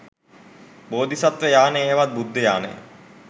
බෝධිසත්ව යානය හෙවත් බුද්ධ යානය